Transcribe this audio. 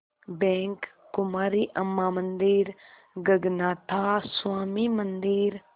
bank Kumari Amman मंदिर गगनाथा स्वामी मंदिर